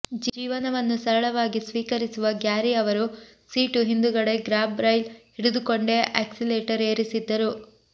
ಜೀವನವನ್ನು ಸರಳವಾಗಿ ಸ್ವೀಕರಿಸುವ ಗ್ಯಾರಿ ಅವರು ಸೀಟು ಹಿಂದುಗಡೆ ಗ್ರಾಬ್ ರೈಲ್ ಹಿಡಿದುಕೊಂಡೇ ಆಕ್ಸಿಲೇಟರ್ ಏರಿಸಿದ್ದರು